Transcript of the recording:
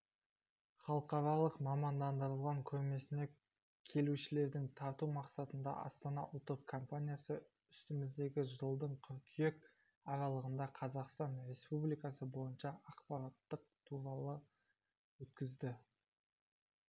халықаралық мамандандырылған көрмесіне келушілерді тарту мақсатында астана ұлттық компаниясы үстіміздегі жылдың қыркүйек аралығында қазақстан республикасы бойынша ақпараттық турлар өткізді